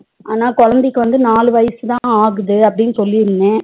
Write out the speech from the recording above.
ஆனா குழந்தைக்கு வந்து நாலு வயசுதா ஆகுது அப்டினு சொல்லிருந்த